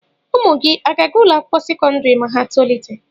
Ụmụ gị à ga-aga ụlọ akwụkwọ sekọndrị ma ha tolite.